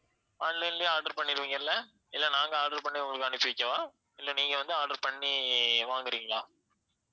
online லயே order பண்ணிடுவிங்க இல்ல? இல்ல நாங்க order பண்ணி உங்களுக்கு அனுப்பி வைக்கவா? இல்ல நீங்க வந்து order பண்ணி வாங்கறீங்களா?